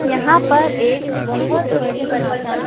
यहां पर एक बहुत बड़ी माता--